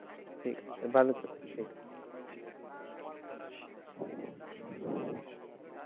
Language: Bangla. ঠিক আছে ভালো থেকো ঠিকআছে